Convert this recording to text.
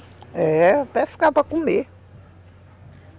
É, pescava para comer.